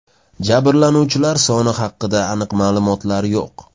Jabrlanuvchilar soni haqida aniq ma’lumotlar yo‘q.